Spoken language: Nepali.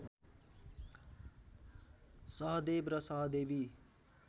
सहदेव र सहदेवी